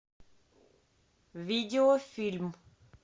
видеофильм